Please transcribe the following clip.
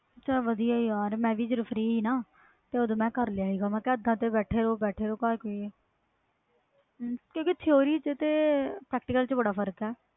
ਚਲ ਵਧੀਆ ਯਾਰ ਜਦੋ ਫ੍ਰੀ ਸੀ ਨਾ ਓਦੋ ਮੈਂ ਕਰ ਲਿਆ ਸੀ ਬੈਠੇ ਰਹੋ ਘਰ ਕਿ ਆ ਕਿਉਕਿ theory ਤੇ practical ਵਿਚ ਬਹੁਤ ਫਰਕ ਆ